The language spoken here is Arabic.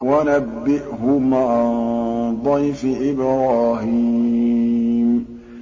وَنَبِّئْهُمْ عَن ضَيْفِ إِبْرَاهِيمَ